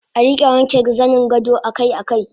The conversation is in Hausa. Arika wanke zaningado akai akai